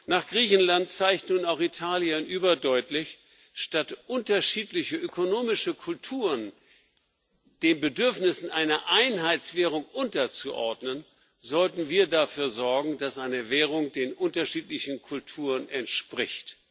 Nach Griechenland zeigt nun auch Italien überdeutlich Statt unterschiedliche ökonomische Kulturen den Bedürfnissen einer Einheitswährung unterzuordnen, sollten wir dafür sorgen, dass eine Währung den unterschiedlichen Kulturen entspricht.